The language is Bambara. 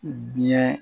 Biɲɛ